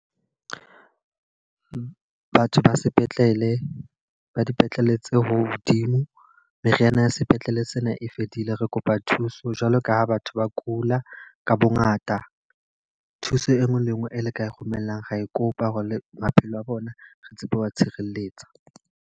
Batho ba sepetlele, ba dipetlele tse hodimo. Meriana ya sepetlele sena e fedile. Re kopa thuso jwalo ka ha batho ba kula ka bo ngata. Thuso e nngwe le e nngwe e le ka e romellang ra e kopa. Hore le maphelo a bona re tsebe ho tshireletsa.